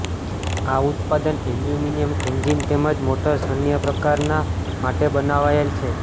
આ ઉત્પાદન aluminium engine તેમજ મોટર્સ અન્ય પ્રકારના માટે બનાવાયેલ છે